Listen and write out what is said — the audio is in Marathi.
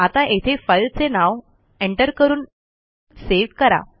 आता येथे फाईलचे नाव एंटर करून सेव्ह करा